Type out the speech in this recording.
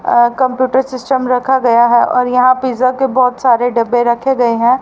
अ computer system रखा गया है और यहां पिज़्ज़ा के बहोत सारे डब्बे रखे गए हैं।